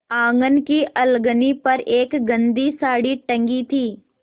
आँगन की अलगनी पर एक गंदी साड़ी टंगी थी